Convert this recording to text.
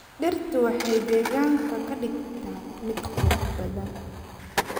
Dhirtu waxay deegaanka ka dhigtaa mid qurux badan.